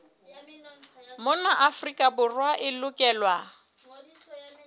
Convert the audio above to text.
mona afrika borwa e lokelwa